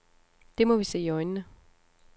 Det må vi se i øjnene.